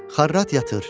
Xarrat yatır.